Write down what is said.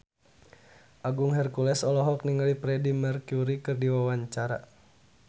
Agung Hercules olohok ningali Freedie Mercury keur diwawancara